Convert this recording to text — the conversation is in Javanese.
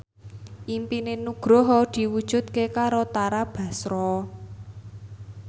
impine Nugroho diwujudke karo Tara Basro